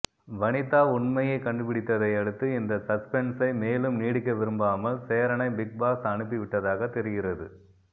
வனிதா உண்மையை கண்டுபிடித்ததை அடுத்து இந்த சஸ்பென்ஸை மேலும் நீடிக்க விரும்பாமல் சேரனை பிக்பாஸ் அனுப்பி விட்டதாக தெரிகிறது